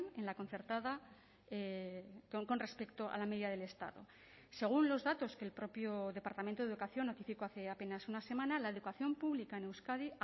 en la concertada con respecto a la media del estado según los datos que el propio departamento de educación notificó hace apenas una semana la educación pública en euskadi